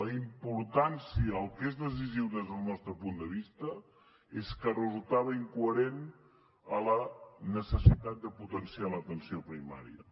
la importància el que és decisiu des del nostre punt de vista és que resultava incoherent amb la necessitat de potenciar l’atenció primària